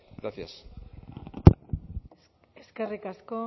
gracias eskerrik asko